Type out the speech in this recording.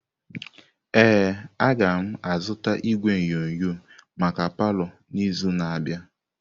Ee, agam azụta igwe onyonyo maka palọ n'izu na-abịa.